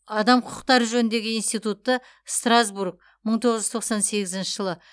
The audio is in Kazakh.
адам құқықтары жөніндегі институтты страсбург мың тоғыз жүз тоқсан сегізінші жылы